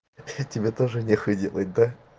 чё тебе тоже не хуй делать да